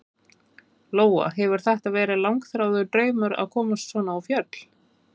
Lóa: Hefur þetta verið langþráður draumur að komast svona á fjöll?